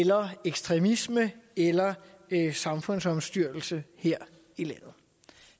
terror ekstremisme eller samfundsomstyrtelse her i landet